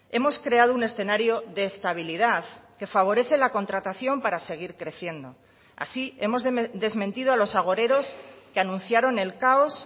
hemos creado un escenario de estabilidad que favorece la contratación para seguir creciendo así hemos desmentido a los agoreros que anunciaron el caos